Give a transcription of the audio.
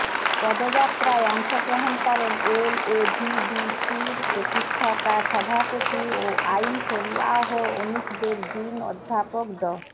পদযাত্রায় অংশগ্রহণ করেন এলএভিডিসির প্রতিষ্ঠাতা সভাপতি ও আইন শরীয়াহ অনুষদের ডিন অধ্যাপক ড